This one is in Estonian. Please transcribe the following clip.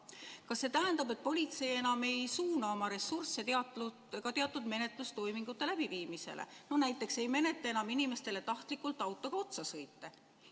Kas see tähendab, et politsei enam ei suuna oma ressursse ka teatud menetlustoimingute läbiviimisesse, näiteks ei menetle enam inimestele tahtlikult autoga otsasõite?